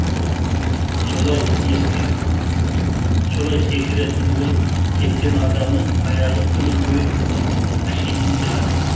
солай секіретін болып кеткен адамның аяғы күні бойы қышитын шығар